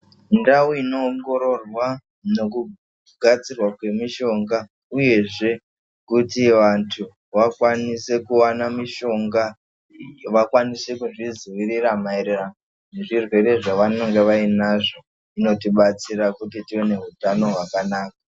Ndau inoongororwa nekugadzirwa kwemishonga uyezve kuti vantu vakwanise kuwana mishonga, vakwanise kuzvizwirira mairirano nezvirwere zvavanonga vainazvo inotibatsira kuti tive nehutano hwakanaka.